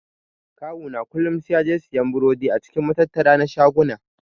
Kawu na kullun sai yaje siyan burodi a cikin matattara na shaguna.